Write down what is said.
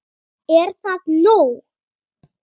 Er það nóg?